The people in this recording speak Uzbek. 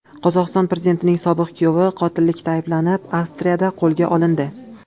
Qozog‘iston prezidentining sobiq kuyovi qotillikda ayblanib, Avstriyada qo‘lga olindi.